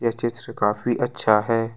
ये चित्र काफी अच्छा है।